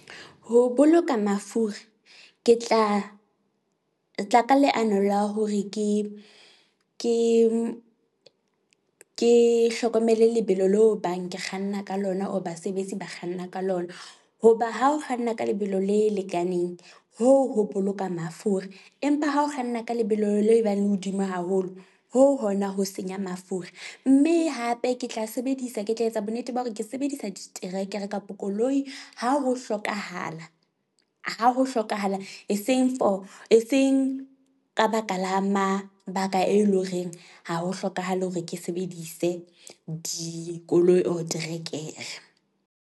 Ho boloka mafura ke tla tla ka leano la hore ke ke ke hlokomele lebelo leo ebang ke kganna ka lona or basebetsi ba kganna ka lona. Hoba ha o kganna ka lebelo le lekaneng, hoo ho boloka mafura empa ha o kganna ka lebelo leo ebang hodimo haholo hoo hona ho senya mafura. Mme hape ke tla sebedisa ke tla etsa bonnete ba hore ke sebedisa diterekere kapo koloi ha ho hlokahala ha ho hlokahala. Eseng for, eseng ka baka la mabaka, e leng horeng ha ho hlokahale hore ke sebedise dikoloi or terekere.